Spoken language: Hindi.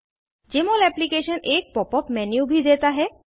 जमोल एप्लीकेशन एक pop यूपी मेन्यू भी देता है